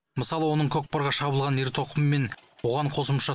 мысалы оның көкпарға шабылған ер тоқым мен оған қосымша